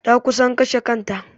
Ta kusan kashe kanta.